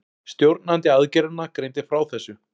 Stjórnandi aðgerðanna greindi frá þessu